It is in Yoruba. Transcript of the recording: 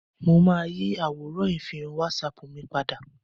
Mo máa yí àwòrán ìfihàn wásapù mi padà